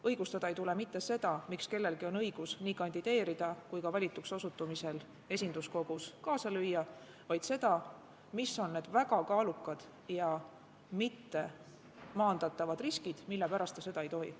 Õigustada ei tule mitte seda, miks kellelgi on õigus nii kandideerida kui ka valituks osutumisel esinduskogus kaasa lüüa, vaid seda, mis on need väga kaalukad ja mittemaandatavad riskid, mille pärast ta seda ei tohi.